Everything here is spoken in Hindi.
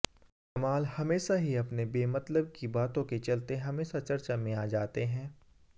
कमाल हमेशा ही अपने बेमतलब की बातों के चलते हमेशा चर्चा में आ जाते हैं